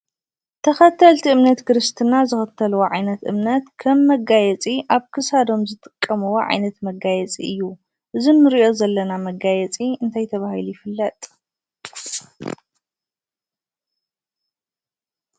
ተኸተልቲ እምነት ክርስትና ዝኽተልዎ ዓይነት እምነት ከም መጋየፂ ኣብ ክሳዶም ዝጥቀምዎ ዓይነት መጋየፂ እዩ። እዚ እንሪኦ ዘለና መጋየፂ እንታይ ተባሂሉ ይፍለጥ?